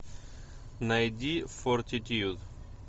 найди фортитьюд